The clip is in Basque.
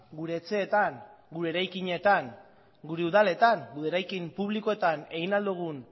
gure etxeetan gure eraikinetan gure udaletan gure eraikin publikoetan egin ahal dugun